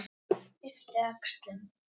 Yppti öxlum.